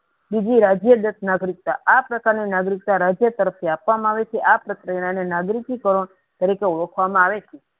બીજું રાજ્ય દાંત નાગરિકતા આ પ્રકારની નાગરિકતા રાજ્ય તરફ થી આપવામાં આવે છે આ પ્રત્યય નાગરિકી કારણ તરીકે ઓળખવામાં આવે છે.